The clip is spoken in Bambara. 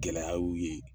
Gɛlɛya y'u ye